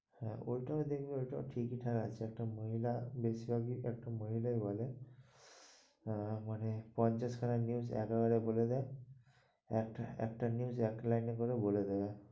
হ্যাঁ ওটাও দেখবে ওটাও ঠিকই ঠাক আছে, একটা মহিলা বেশির ভাগ ই, একটা মহিলাই বলে হ্যাঁ মানে পঞ্চাশ খানা news একবারে বলে দেয়. একটা~ একটা news এক লাইন করে বলে দেয়।